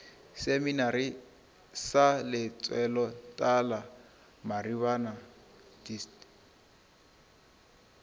seminari sa lentsweletala maribana dist